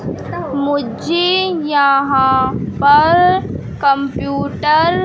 मुझे यहां पर कंप्यूटर --